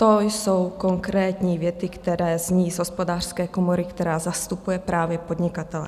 To jsou konkrétní věty, které zní z Hospodářské komory, která zastupuje právě podnikatele.